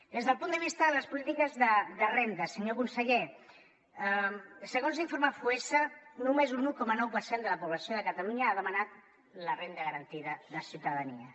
des del punt de vista de les polítiques de renda senyor conseller segons l’informe foessa només un un coma nou per cent de la població de catalunya ha demanat la renda garantida de ciutadania